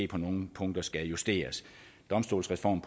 på nogle punkter skal justeres domstolsreformen